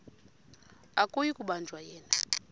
akuyi kubanjwa yena